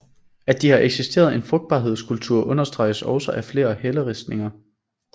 At der har eksisteret en frugtbarhedskult understreges også af flere helleristninger